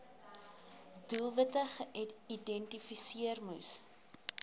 doelwitte geïdentifiseer moes